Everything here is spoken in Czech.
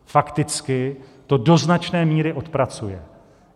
Fakticky to do značné míry odpracuje.